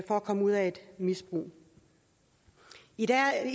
komme ud af et misbrug i dag er